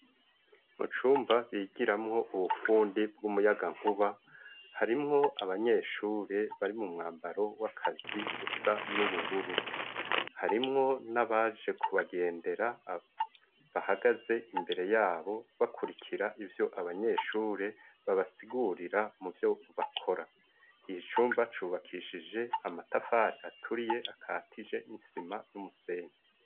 Mucumba bigiramo ubufundi bw'umuyaga nkuba, harimwo abanyeshuri bari mu mwambaro w'akazi usa n'ubururu, harimwo n'abaje kubagendera bahagaze imbere yabo bakurikira ivyo abanyeshure babasigurira mu vyo bakora, iyi cumba cubakishije amatafari aturiye akatije nisima n'umusenyi.